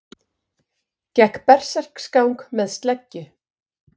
Gekk berserksgang með sleggju